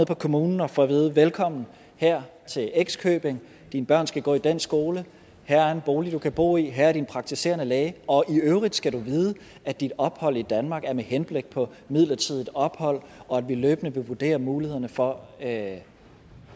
kommunen og får at vide velkommen her til x købing dine børn skal gå i den skole her er en bolig du kan bo i her er din praktiserende læge og i øvrigt skal du vide at dit ophold i danmark er med henblik på midlertidigt ophold og at vi løbende vil vurdere mulighederne for at